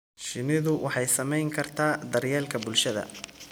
Shinnidu waxay saamayn kartaa daryeelka bulshada.